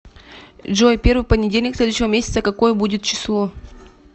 джой первый понедельник следующего месяца какое будет число